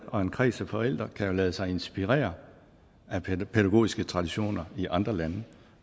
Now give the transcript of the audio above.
og en kreds af forældre kan jo lade sig inspirere af pædagogiske traditioner i andre lande